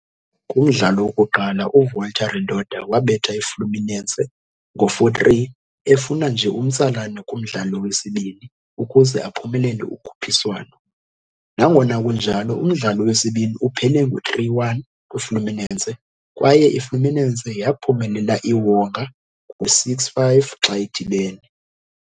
Kumdlalo wokuqala, uVolta Redonda wabetha iFluminense ngo'4-3, efuna nje umtsalane kumdlalo wesibini ukuze aphumelele ukhuphiswano. Nangona kunjalo, umdlalo wesibini uphele ngo-3-1 kwiFluminense, kwaye iFluminense yaphumelela iwonga ngo-6-5 xa idibene.